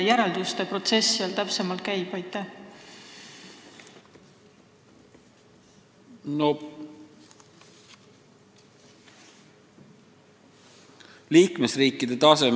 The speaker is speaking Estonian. Kuidas see protsess seal täpsemalt käib?